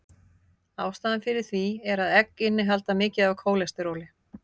Ástæðan fyrir því er að egg innihalda mikið af kólesteróli.